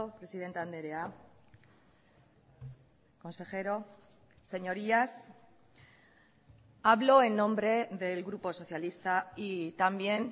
presidente andrea consejero señorías hablo en nombre del grupo socialista y también